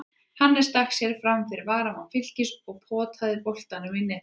Hannes stakk sér framfyrir varnarmann Fylkis og potaði boltanum í netið.